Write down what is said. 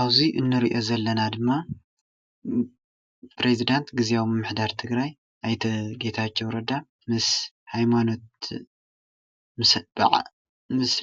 ኣብዙይ እንሪኦ ዘለና ድማ ፕረዚዳንት ግዝያዊ ምምሕዳር ትግራይ ኣይተ ጌታቸው ረዳ ምስ ሃይማኖት